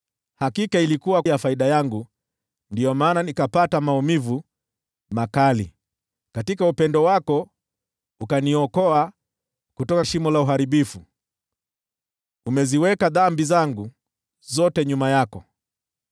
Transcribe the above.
Hakika ilikuwa ya faida yangu ndiyo maana nikapata maumivu makali. Katika upendo wako ukaniokoa kutoka shimo la uharibifu; umeziweka dhambi zangu zote nyuma yako.